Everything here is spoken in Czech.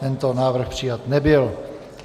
Tento návrh přijat nebyl.